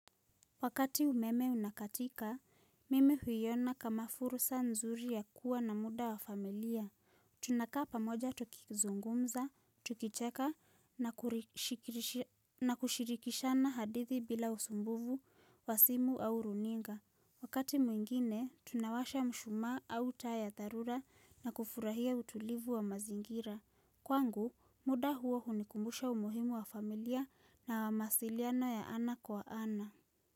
Wakati umeme unakatika, mimi huiyona kama fursa nzuri ya kuwa na muda wa familia. Tunakaa pamoja tukizungumza, tukicheka na kushirikishana hadithi bila usumbuvu, wasimu au runinga. Wakati mwingine, tunawasha mshuma au taa ya tharura na kufurahia utulivu wa mazingira. Kwangu, muda huo hunikumbusha umuhimu wa familia na wamasiliano ya ana kwa ana.